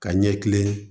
Ka ɲɛ kilen